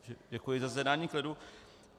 Děkuji za zjednání klidu.